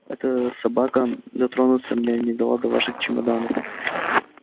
эта собака дотронуться мне не дала до ваших чемоданов